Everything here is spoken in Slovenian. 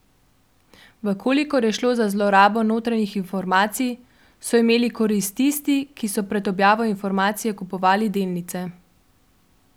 V kolikor je šlo za zlorabo notranjih informacij, so imeli korist tisti, ki so pred objavo informacije kupovali delnice.